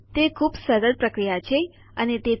અને તે ફ્ફ્પ માં ખૂબ ઉપયોગી છે તો તેને તમારા મનથી ઉપયોગ કરો